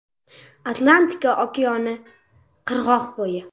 Atlantika okeani qirg‘oqbo‘yi.